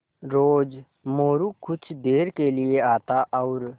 रोज़ मोरू कुछ देर के लिये आता और